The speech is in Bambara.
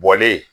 Bɔlen